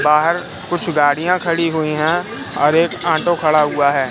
बाहर कुछ गाड़ियां खड़ी हुई हैं और एक ऑटो खड़ा हुआ है।